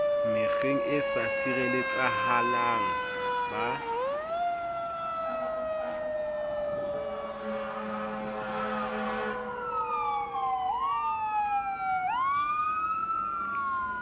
mekgeng e sa sireletsehang ba